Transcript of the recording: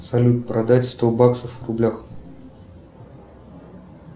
салют продать сто баксов в рублях